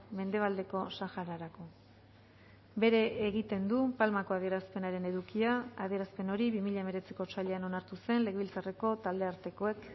mendebaldeko sahararako bere egiten du palmako adierazpenaren edukia adierazpen hori bi mila hemeretziko otsailean onartu zen legebiltzarreko taldeartekoek